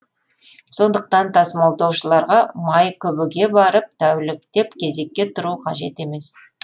сондықтан тасымалдаушыларға майкүбіге барып тәуліктеп кезекке тұру қажет емес